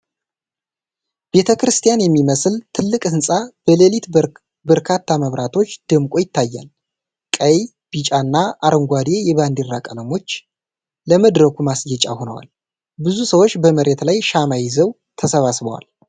ቤተክርስቲያን የሚመስል ትልቅ ሕንፃ በሌሊት በርካታ መብራቶች ደምቆ ይታያል። ቀይ፣ ቢጫና አረንጓዴ የባንዲራ ቀለሞች ለመድረኩ ማስጌጫ ሆነዋል። ብዙ ሰዎች በመሬት ላይ ሻማ ይዘው ተሰብስበዋል።